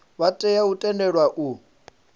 vha tea u tendelwa u